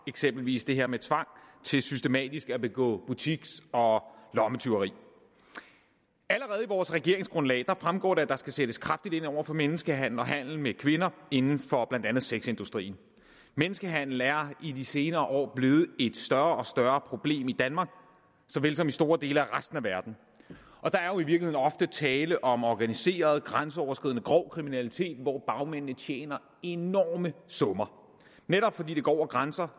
eksempelvis det her med tvang til systematisk at begå butiks og lommetyveri allerede i vores regeringsgrundlag fremgår det at der skal sættes kraftigt ind over for menneskehandel og handel med kvinder inden for blandt andet sexindustrien menneskehandel er i de senere år blevet et større og større problem i danmark såvel som i store dele af resten af verden og der er jo i virkeligheden ofte tale om organiseret grænseoverskridende grov kriminalitet hvor bagmændene tjener enorme summer netop fordi det går over grænser